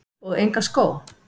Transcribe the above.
Og enga skó?